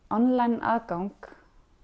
online aðgang